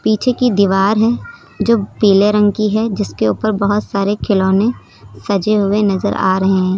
पीछे की दीवार है जो पीले रंग की है जिसके ऊपर बहुत सारे खिलौने सजे हुए नजर आ रहे हैं।